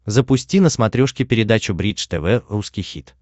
запусти на смотрешке передачу бридж тв русский хит